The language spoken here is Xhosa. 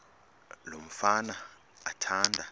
lo mfana athanda